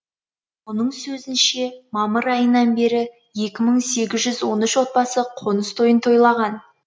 оның сөзінше мамыр айынан бері екі мың сегіз жүз он үш отбасы қоныс тойын тойлаған